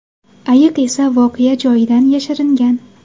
Ayiq esa voqea joyidan yashiringan.